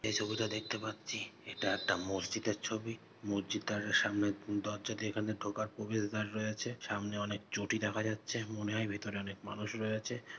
এই যে ছবিটা দেখতে পাচ্ছি এটা একটা মসজিদের ছবি। মসজিদ দারের সামনে দরজা দিয়ে এখানে ঢোকার প্রবেশ দাঁড় রয়েছে। সামনে অনেক চটি দেখা যাচ্ছে। মনে হয় ভিতরে অনেক মানুষ রয়েছে --